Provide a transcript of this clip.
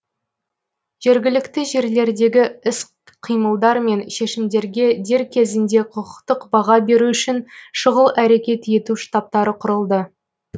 жергілікті жерлердегі іс қимылдар мен шешімдерге дер кезінде құқықтық баға беру үшін шұғыл әрекет ету штабтары құрылды